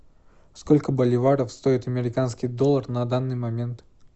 сколько боливаров стоит американский доллар на данный момент